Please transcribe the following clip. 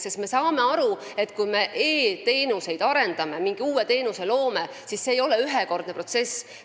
Meie saame aru, et kui me e-teenuseid arendame või mingi uue teenuse loome, siis see ei ole ühekordne protsess.